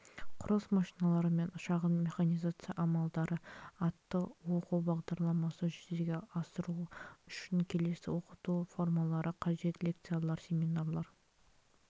құрылыс машиналары мен шағын механизация амалдары атты оқу бағдарламасын жүзеге асыру үшін келесі оқыту формалары қажет лекциялар семинарлар